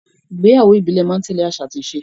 Ìgbéyàwó ìbílẹ̀ máa ń tẹ́lẹ̀ àṣà àti ìṣe